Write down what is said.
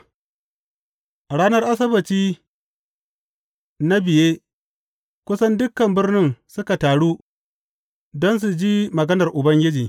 A ranar Asabbaci na biye kusan dukan birnin suka taru don su ji maganar Ubangiji.